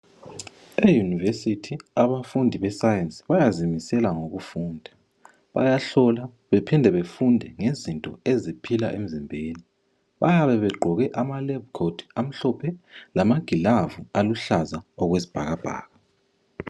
E university abafundi be science bayazimisela ngokufunda bayahlola bephinde befunde ngezinto eziphila emzimbeni. Bayabe beqgoke amalab coat amahlophe lamagilavu aluhlaza okwesibhakabhaka.